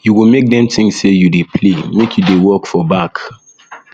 you go make dem tink sey um you dey play make you dey work for back